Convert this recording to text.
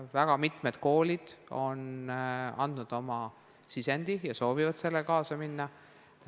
Väga mitmed koolid on andnud oma sisendi ja soovivad sellega kaasa minna.